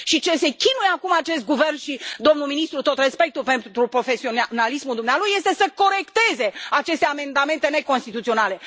Ce se chinuie acum acest guvern și domnul ministru, tot respectul pentru profesionalismul dumnealui, este să corecteze aceste amendamente neconstituționale.